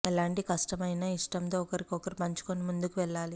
ఎలాంటి కష్టం అయిన ఇష్టంతో ఒకరితో ఒకరు పంచుకుని ముందుకి వెళ్ళాలి